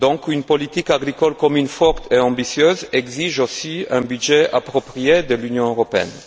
Une politique agricole commune forte et ambitieuse exige aussi un budget approprié de l'Union européenne.